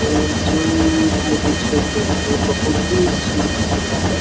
ये जो बहुत ही सुन्दर लग रहा है।